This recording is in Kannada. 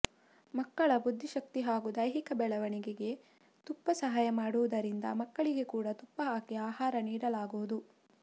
ಮಕ್ಕಳ ಬುದ್ಧಿಶಕ್ತಿ ಹಾಗೂ ದೈಹಿಕ ಬೆಳವಣಿಗೆಗೆ ತುಪ್ಪ ಸಹಾಯ ಮಾಡುವುದರಿಂದ ಮಕ್ಕಳಿಗೆ ಕೂಡ ತುಪ್ಪ ಹಾಕಿ ಆಹಾರ ನೀಡಲಾಗುವುದು